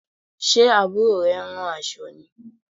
Ṣe Àbúrò rẹ ń rán aṣọ ni?